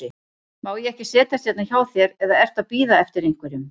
Má ég ekki setjast hérna hjá þér, eða ertu að bíða eftir einhverjum?